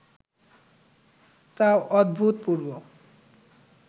তা অভূতপূর্ব